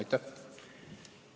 Aitäh!